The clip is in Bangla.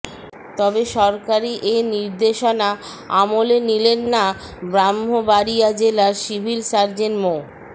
তবে সরকারি এ নির্দেশনা আমলে নিলেন না ব্রাহ্মবাড়িয়া জেলার সিভিল সার্জন মো